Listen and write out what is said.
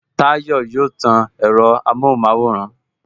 Tayọ yóò tan ẹ̀rọ amohun maworan